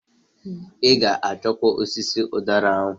I g'akọcha osisi ụdara ahụ!